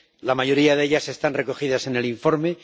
La mayoría de ellas están recogidas en el informe